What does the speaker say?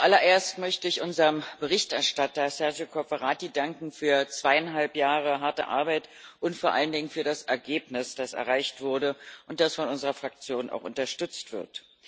Zuallererst möchte ich unserem Berichterstatter Sergio Cofferati danken für zweieinhalb Jahre harte Arbeit und vor allen Dingen für das Ergebnis, das erreicht wurde und das von unserer Fraktion auch unterstützt wird.